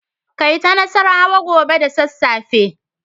Kai ta nassarawa gobe da sassafe.